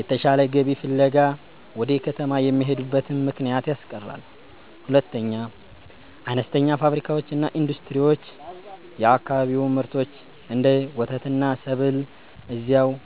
የተሻለ ገቢ ፍለጋ ወደ ከተማ የሚሄዱበትን ምክንያት ያስቀራል። 2. አነስተኛ ፋብሪካዎችና ኢንዱስትሪዎች የአካባቢውን ምርቶች (እንደ ወተትና ሰብል) እዚያው